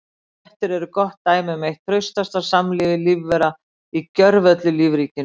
Fléttur eru gott dæmi um eitt traustasta samlífi lífvera í gjörvöllu lífríkinu.